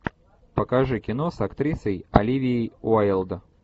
покажи кино с актрисой оливией уайлд